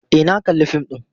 E, na kalli fim ɗin.